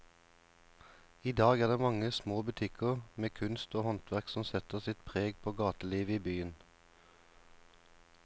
I dag er det de mange små butikkene med kunst og håndverk som setter sitt preg på gatelivet i byen.